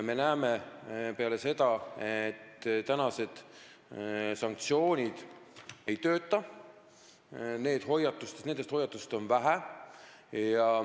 Me näeme, et praegused sanktsioonid ei tööta, nendest hoiatustest on vähe.